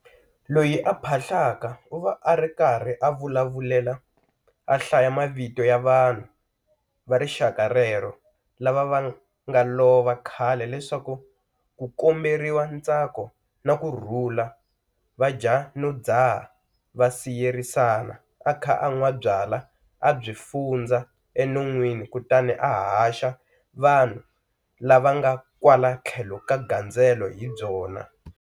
Loyi a phahlaka u va a ri karhi a vulavulela a hlaya mavito ya vanhu va rixaka rero lava nga lova khale leswaku ku komberiwa ntsako na kurhula va dya no dzaha va siyerisana a kha a nwa byalwa a byi fundza enonweni kutani a haxa vanhu lava nga kwala tlhelo ka gandzelo hi byona.